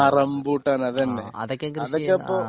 ആ റംബൂട്ടാന് അതന്നെ അതൊക്കെ ഇപ്പൊ